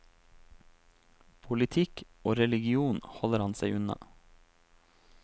Politikk og religion holder han seg unna.